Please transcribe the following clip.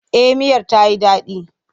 Eh miyar ta yi daɗi.